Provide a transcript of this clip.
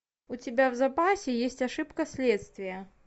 у тебя в запасе есть ошибка следствия